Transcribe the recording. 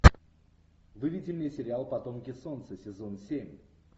выведи мне сериал потомки солнца сезон семь